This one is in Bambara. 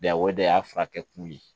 Yan o de y'a furakɛ kun ye